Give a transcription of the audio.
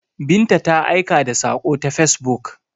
Binta ta aika da sako ta facebook.